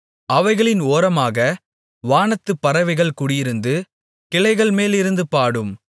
அவைகளின் ஓரமாக வானத்துப் பறவைகள் குடியிருந்து கிளைகள் மேலிருந்து பாடும்